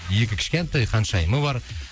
екі кішкентай ханшайымы бар